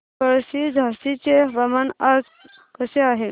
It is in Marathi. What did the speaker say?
पळशी झाशीचे हवामान आज कसे आहे